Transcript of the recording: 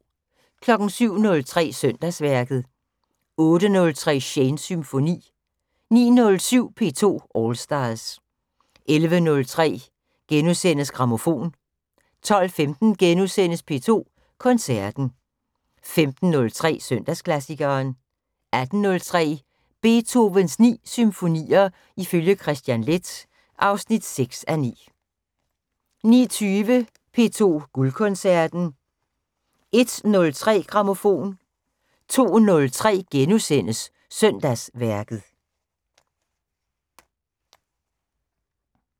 07:03: Søndagsværket 08:03: Shanes Symfoni 09:07: P2 All Stars 11:03: Grammofon * 12:15: P2 Koncerten * 15:03: Søndagsklassikeren 18:03: Beethovens 9 symfonier ifølge Kristian Leth (6:9) 19:20: P2 Guldkoncerten 01:03: Grammofon 02:03: Søndagsværket *